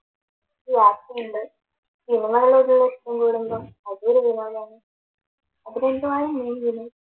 യാത്രയുണ്ട്, സിനിമകളോടുള്ള ഇഷ്ട്ടം കൂടുമ്പോ അതൊരു വിനോദമാണ്